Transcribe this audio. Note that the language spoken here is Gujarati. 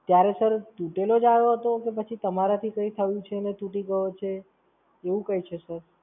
ત્યારે Sir, તૂટેલો જ આયો હતો કે પછી તમારાથી કઈ થયું છે અને તૂટી ગયો છે? એવું કઈ છે Sir?